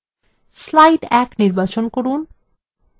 slide ১ নির্বাচন করুন